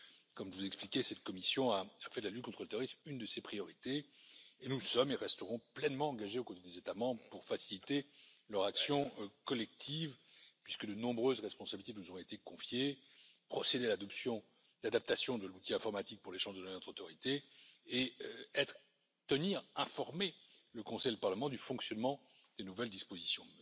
Comme je vous l'ai expliqué, cette Commission a fait de la lutte contre le terrorisme une de ses priorités et nous sommes et resterons pleinement engagés aux côtés des États membres pour faciliter leur action collective, puisque de nombreuses responsabilités nous ont été confiées procéder à l'adaptation de l'outil informatique pour l'échange de données entre autorités et tenir informés le Conseil et le Parlement du fonctionnement des nouvelles dispositions.